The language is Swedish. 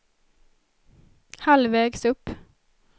halvvägs upp